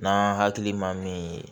N'an hakili man min ye